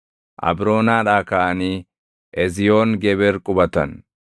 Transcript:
Abroonaadhaa kaʼanii Eziyoon Geber qubatan.